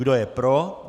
Kdo je pro?